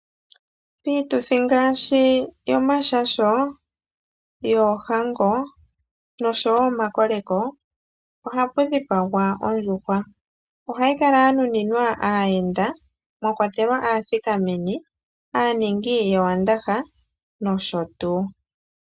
Piituthi ngaashi yomashasho, yoohango nosho wo omakoleko ohapu dhipagwa ondjuhwa. Ohayi kala ya nuninwa aayenda mwa kwatelwa aathikameni, aaningi yowandaha nosho tuu.